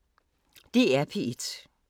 DR P1